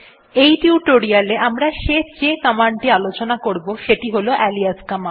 এই টিউটোরিয়াল এ আমরা যে শেষ কমান্ড টি আলোচনা করবো সেটি হল আলিয়াস কমান্ড